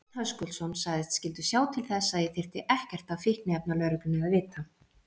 Örn Höskuldsson sagðist skyldu sjá til þess að ég þyrfti ekkert af fíkniefnalögreglunni að vita.